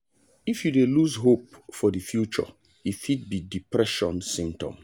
if you dey lose hope for the future e fit be depression symptom.